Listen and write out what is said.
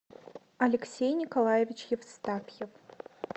алексей николаевич евстафьев